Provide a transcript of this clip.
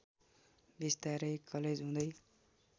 बिस्तारै कलेज हुँदै